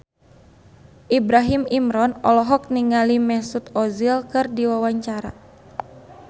Ibrahim Imran olohok ningali Mesut Ozil keur diwawancara